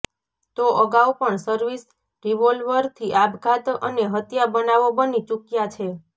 તો અગાઉ પણ સર્વિસ રિવોલ્વરથી આપઘાત અને હત્યા બનાવો બની ચૂક્્યા છે